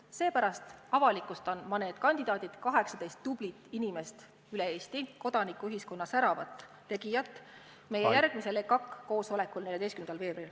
Seepärast avalikustan ma need kandidaadid – 18 tublit inimest üle Eesti, kodanikuühiskonna säravat tegijat – meie järgmisel EKAK-i koosolekul, mis toimub 14. veebruaril.